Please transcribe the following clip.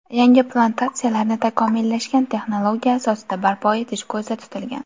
Yangi plantatsiyalarni takomillashgan texnologiya asosida barpo etish ko‘zda tutilgan.